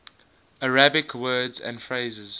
arabic words and phrases